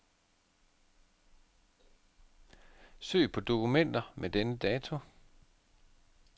Søg på dokumenter med denne dato.